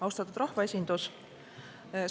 Austatud rahvaesindus!